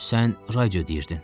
Sən radio deyirdin.